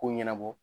Ko ɲɛnabɔ